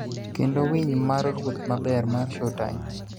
kendo �Winy mar Ruoth Maber� mar Showtime.